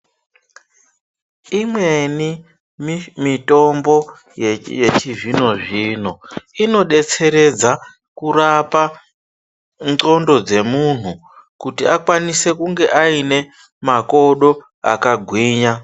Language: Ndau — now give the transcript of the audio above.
Imweni mi mitombo yechi yechizvino zvino inodetseredza kurapa ndxondo dzemunhu kuti akwanise kunge aine makodo akagwinya.